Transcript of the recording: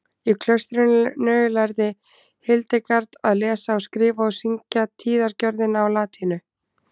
í klaustrinu lærði hildegard að lesa og skrifa og syngja tíðagjörðina á latínu